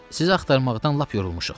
Sizi axtarmaqdan lap yorulmuşuq.